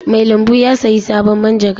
Mai lambu ya sayi sabon manjagara.